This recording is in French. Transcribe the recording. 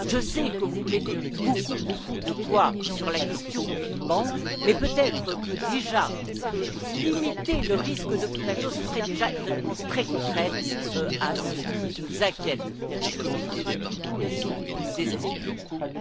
Je sais que vous mettez beaucoup de poids sur la question du Liban, mais peut être que le fait de limiter le risque de contagion serait déjà une réponse très concrète à ce qui nous inquiète terriblement aujourd'hui et ce qui nous désespère, d'ailleurs.